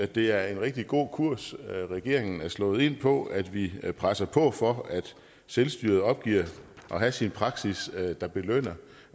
det er en rigtig god kurs regeringen er slået ind på at vi presser på for at selvstyret opgiver at have sin praksis der belønner